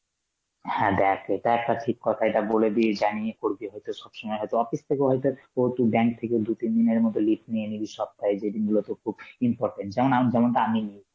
হ্যাঁ দেখ এটা একটা ঠিক কথা, এটা বলে দিয়ে জানিয়ে করবি হয়তো সব সময় হয়তো office থেকে হয়তো ও তুই bank থেকে দু-তিন দিনের মত leave নিয়ে নিলি সপ্তায় যেদিন গুলো তোর খুব important, যেমন আম~ যেমনটা আমি নিই